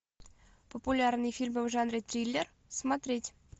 популярные фильмы в жанре триллер смотреть